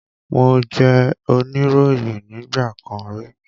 Mo jẹ́ oníròyìn nígbà kan rí